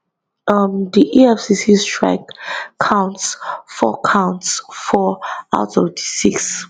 um di efcc strike counts four counts four out of di six